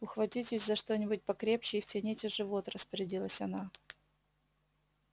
ухватитесь за что-нибудь покрепче и втяните живот распорядилась она